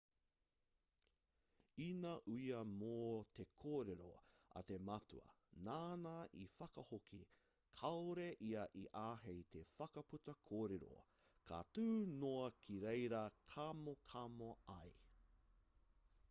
ina uia mō te kōrero a te matua nāna i whakahoki kāore ia i āhei te whakaputa kōrero ka tū noa ki reira kamokamo ai